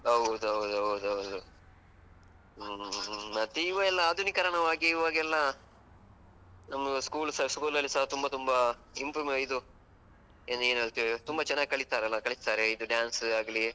ಹೌದೌದೌದೌದು ಹ್ಮ್ ಮತ್ತೆ ಇವೆಲ್ಲ ಆಧುನೀಕರಣವಾಗಿ ಇವಾಗೆಲ್ಲ ನಮ್ಮ school ಸ school ಅಲ್ಲಿಸ ತುಂಬ ತುಂಬ improvise ಇದು ತುಂಬ ಚನ್ನಾಗಿ ಕಲೀತಾರಲ್ಲ, ಕಲಿಸ್ತಾರೆ ಇದು dance ಆಗ್ಲೀ.